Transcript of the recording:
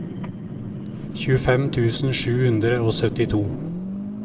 tjuefem tusen sju hundre og syttito